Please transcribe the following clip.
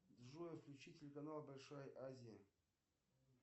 джой включи телеканал большая азия